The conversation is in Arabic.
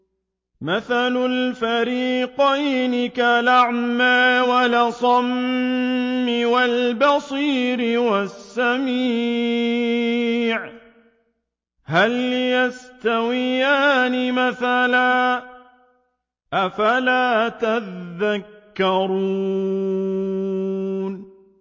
۞ مَثَلُ الْفَرِيقَيْنِ كَالْأَعْمَىٰ وَالْأَصَمِّ وَالْبَصِيرِ وَالسَّمِيعِ ۚ هَلْ يَسْتَوِيَانِ مَثَلًا ۚ أَفَلَا تَذَكَّرُونَ